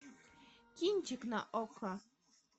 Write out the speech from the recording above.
кинчик на окко